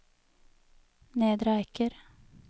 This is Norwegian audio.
Nedre Eiker